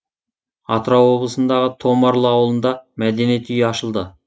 атырау облысындағы томарлы ауылында мәдениет үйі ашылды